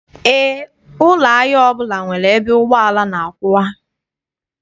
Eé, ụlọ ahịa ọbụla nwere ebe ụgbọala na-akwụwa.